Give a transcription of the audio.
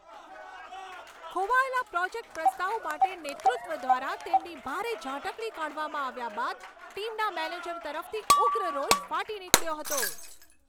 ખોવાયેલા project પ્રસ્તાવ માટે નેતૃત્વ દ્વારા તેમની ભારે ઝાટકણી કાઢવામાં આવ્યા બાદ ટીમના મેનેજર તરફથી ઉગ્ર રોષ ફાટી નીકળ્યો હતો.